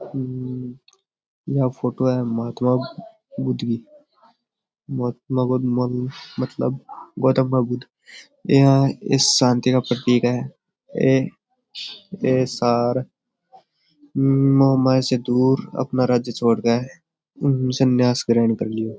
हम्म यह फोटो है महात्मा बुध की महात्मा बुध मतलब गौतम बुध यह एक शांति का प्रतीक है ये ये सारे मोह माया से दूर अपना राज्य छोड़ के हम्म सन्यास ग्रहण कर लिए।